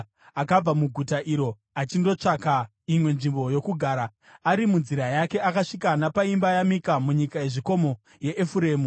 akabva muguta iroro achindotsvaka imwe nzvimbo yokugara. Ari munzira yake akasvika napaimba yaMika munyika yezvikomo yeEfuremu.